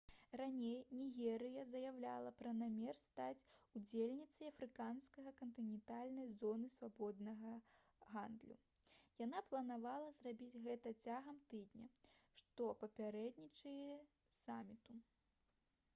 раней нігерыя заяўляла пра намер стаць удзельніцай афрыканскай кантынентальнай зоны свабоднага гандлю яна планавала зрабіць гэта цягам тыдня што папярэднічае саміту